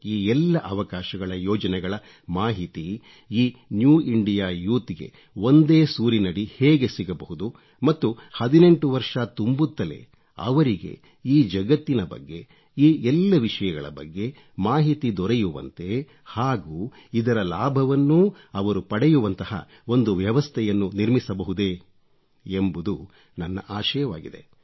ಈ ಎಲ್ಲ ಅವಕಾಶಗಳ ಯೋಜನೆಗಳ ಮಾಹಿತಿ ಈ ನ್ಯೂ ಇಂಡಿಯಾ ಯೂತ್ ಗೆ ಒಂದೇ ಸೂರಿನಡಿ ಹೇಗೆ ಸಿಗಬಹುದು ಮತ್ತು 18 ವರ್ಷ ತುಂಬುತ್ತಲೇ ಅವರಿಗೆ ಈ ಜಗತ್ತಿನ ಬಗ್ಗೆ ಈ ಎಲ್ಲ ವಿಷಯಗಳ ಬಗ್ಗೆ ಮಾಹಿತಿ ದೊರೆಯುವಂತೆ ಹಾಗೂ ಇದರ ಲಾಭವನ್ನೂ ಅವರು ಪಡೆಯುವಂತಹ ಒಂದು ವ್ಯವಸ್ಥೆಯನ್ನು ನಿರ್ಮಿಸಬಹುದೇ ಎಂಬುದು ನನ್ನ ಆಶಯವಾಗಿದೆ